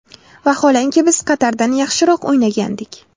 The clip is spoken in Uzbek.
Vaholanki biz Qatardan yaxshiroq o‘ynagandik.